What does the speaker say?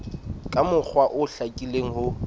ka mokgwa o hlakileng ho